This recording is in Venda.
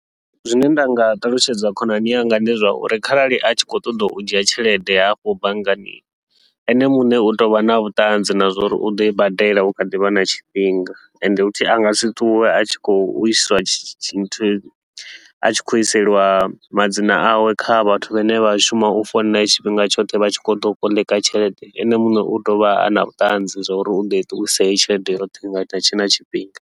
Zwine nda nga ṱalutshedza khonani yanga ndi zwauri kharali a tshi khou ṱoḓa u dzhia tshelede hafho banngani, ene muṋe u tou vha na vhuṱanzi na zwauri u ḓoi badela u kha ḓivha na tshifhinga. Ende futhi a ngasi ṱuwe a tshi khou i sa sa tshi a tshi khou iselwa madzina awe kha vhathu vhane vha shuma u founela tshifhinga tshoṱhe vha tshi khou ḓa u koḽeka tshelede, ene muṋe utea uvha ana vhuṱanzi zwa uri uḓo ṱuwisa heyi tshelede yoṱhe nga hutshe na tshifhinga.